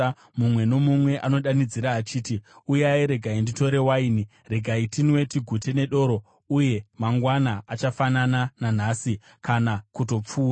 Mumwe nomumwe anodanidzira achiti, “Uyai, regai nditore waini! Regai tinwe tigute nedoro! Uye mangwana achafanana nanhasi, kana kutopfuura.”